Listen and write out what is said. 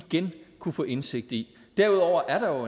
igen kunne få indsigt i derudover er der jo